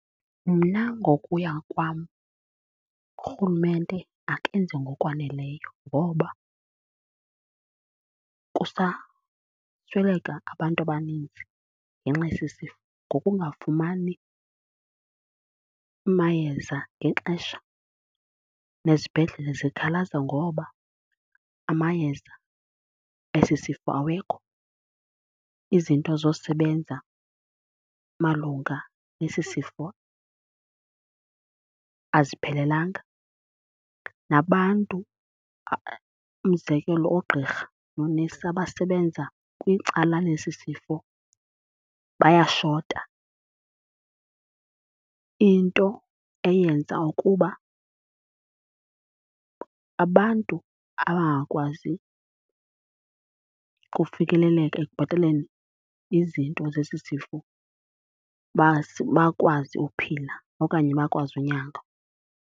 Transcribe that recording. Mna ngokuya kwam urhulumente akenzi ngokwaneleyo ngoba kusasweleka abantu abaninzi ngenxa yesi sifo ngokungafumani mayeza ngexesha. Nezibhedlele zikhalaza ngoba amayeza esi sifo awekho, izinto zosebenza malunga nesi sifo aziphelelanga, nabantu umzekelo oogqirha noonesi abasebenza kwicala lesi sifo bayashota. Into eyenza ukuba abantu abangakwazi ukufikeleleka ekubhataleni izinto zesi sifo baze bakwazi ukuphila okanye bakwazi unyangwa.